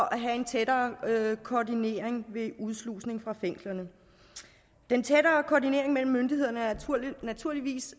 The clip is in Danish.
og tættere koordinering ved udslusning fra fængslerne den tættere koordinering mellem myndighederne er naturligvis